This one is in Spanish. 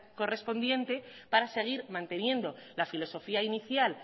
correspondiente para seguir manteniendo la filosofía inicial